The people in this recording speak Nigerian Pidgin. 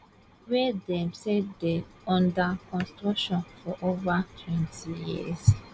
wey dem say dey under construction for ovatwentyyears